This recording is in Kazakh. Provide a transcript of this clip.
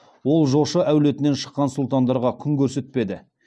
ол жошы әулетінен шыққан сұлтандарға күн көрсетпеді